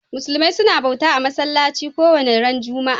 Musulmi suna bauta a'masallaci kowani ran Juma'a.